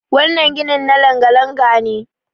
wannan ginin na langa- langa- ne